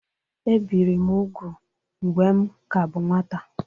Ebìri m úgwù mgbe m ka bụ nwata